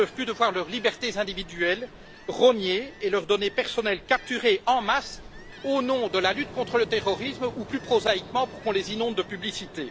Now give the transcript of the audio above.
qui n'en peuvent plus de voir leurs libertés individuelles rognées et leurs données personnelles capturées en masse au nom de la lutte contre le terrorisme, ou plus prosaïquement pour qu'on les inonde de publicités